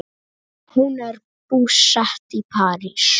Hún er búsett í París.